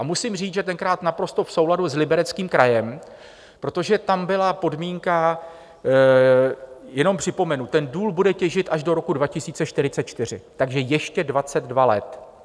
A musím říct, že tenkrát naprosto v souladu s Libereckým krajem, protože tam byla podmínka - jenom připomenu: Ten důl bude těžit až do roku 2044, takže ještě 22 let.